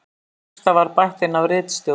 Texta var bætt inn af ritstjórn